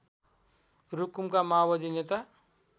रुकुमका माओवादी नेता